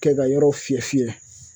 Kɛ ka yɔrɔ fiyɛ fiyɛ